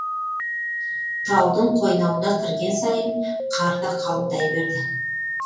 таудың қойнауына кірген сайын қар да қалыңдай берді